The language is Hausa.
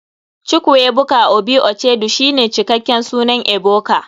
chukwuebuka obi uchedu shine cikaken sunan ebuka.